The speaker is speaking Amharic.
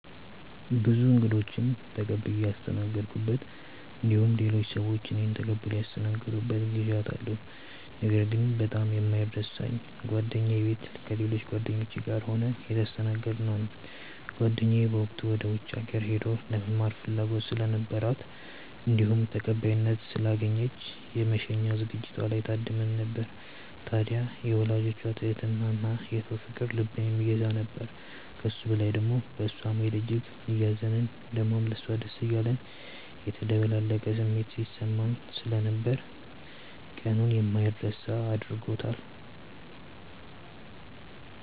ብዙ እንግዶችን ተቀብዬ ያስተናገድኩበት እንዲሁም ሌሎች ሰዎች እኔን ተቀብለው ያስተናገዱበት ጊዜያት አሉ። ነገር ግን በጣም የማይረሳኝ ጓደኛዬ ቤት ከሌሎች ጓደኞቼ ጋር ሆነን የተስተናገድነው ነው። ጓደኛዬ በወቅቱ ወደ ውጪ ሀገር ሄዳ ለመማር ፍላጎት ስለነበራት እንዲሁም ተቀባይነት ስላገኘች የመሸኛ ዝግጅቷ ላይ ታድመን ነበር። ታድያ የወላጆቿ ትህትና እና የሰው ፍቅር ልብን የሚገዛ ነበር። ከሱ በላይ ደሞ በእሷ መሄድ እጅግ እያዘንን ደሞም ለሷ ደስ እያለን የተደበላለቀ ስሜት ሲሰማን ስለነበር ቀኑን የማይረሳ አድርጎታል።